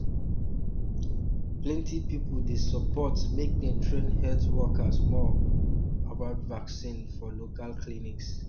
um plenty people dey support make dem train health workers more um about vaccine for local clinics